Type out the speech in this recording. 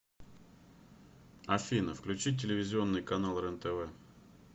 афина включить телевизионный канал рен тв